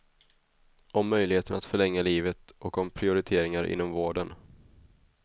Om möjligheten att förlänga livet och om prioriteringar inom vården.